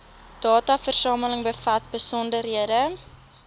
dataversameling bevat besonderhede